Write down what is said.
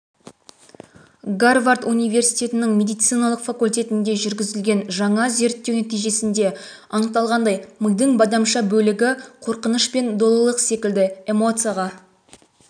гарвард университетінің медициналық факультетінде жүргізілгенжаңа зерттеу нәтижесінде анықталғандай мидың бадамша бөлігі қорқыныш пен долылық секілді эмоцияға